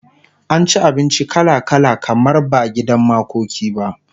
an ci abinci kala kala kamar ba gidan makoki ba